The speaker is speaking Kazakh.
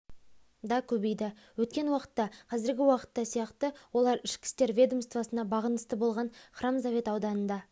да көбейді өткен уақытта қазіргі уақытта сияқты олар ішкі істер ведомствосына бағынысты болған хромзавод ауданында